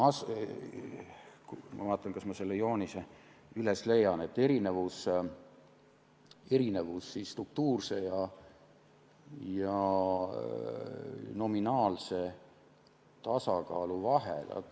Ma vaatan, kas ma selle joonise üles leian, erinevus struktuurse ja nominaalse tasakaalu vahel.